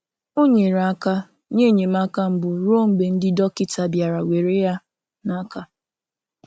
Ọ nyere aka nye enyemaka mbụ ruo mgbe ndị dọkịta bịara were ya n'aka..